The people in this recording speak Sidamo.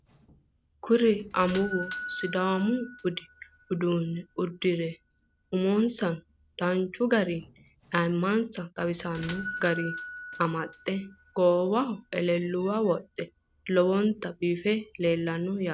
Kuri amuwu sodaamu budu uduune uddire umonisano danchu garii ayimansa xawisanno garii amaxe goowahono eleelluwa wodhe lowonita biife leellayino yaate.